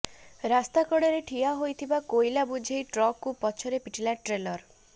ରାସ୍ତାକଡ଼ରେ ଠିଆ ହୋଇଥିବା କୋଇଲା ବୋଝେଇ ଟ୍ରକକୁ ପଛରୁ ପିଟିଲା ଟ୍ରେଲର